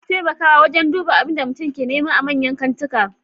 Akwai bamu taimakawa wajan duba abinda mutum ke nema a manyan kantika